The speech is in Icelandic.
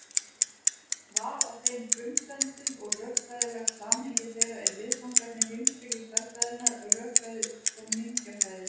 Val á þeim frumsendum og rökfræðilegt samhengi þeirra eru viðfangsefni heimspeki stærðfræðinnar, rökfræði og mengjafræði.